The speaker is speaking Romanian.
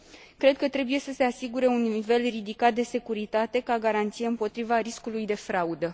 Cred că trebuie să se asigure un nivel ridicat de securitate, ca garanție împotriva riscului de fraudă.